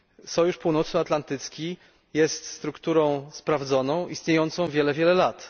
Sojusz Północnoatlantycki jest strukturą sprawdzoną, istniejącą wiele, wiele lat.